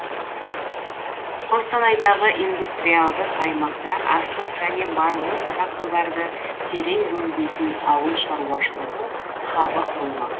қостанайдағы индустриалдық аймақта астық және майлы дақылдарды терең өңдейтін ауыл шаруашылығы хабы құрылмақ